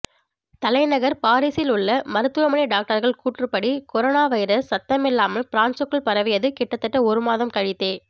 தலைநகர் பாரீஸில் உள்ள மருத்துவமனை டாக்டர்கள் கூற்றுப்படி கொரோனா வைரஸ் சத்தமில்லாமல் பிரான்சுக்குள் பரவியது கிட்டத்தட்ட ஒரு மாதம் கழித்தே